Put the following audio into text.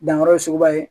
Danyɔrɔ ye suguba ye